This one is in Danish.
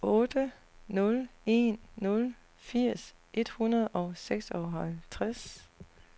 otte nul en nul firs et hundrede og seksoghalvtreds